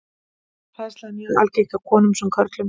Hræðsla er mjög algeng hjá konum sem körlum.